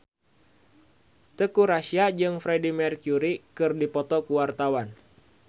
Teuku Rassya jeung Freedie Mercury keur dipoto ku wartawan